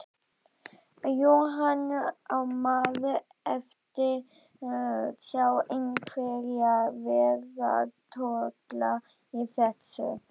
Jóhann: Á maður eftir sjá einhverja vegatolla í þessu?